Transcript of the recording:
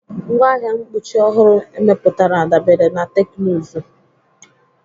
Ngwaahịa mkpuchi ọhụrụ emepụtara dabere na teknụzụ..